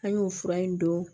An y'o fura in don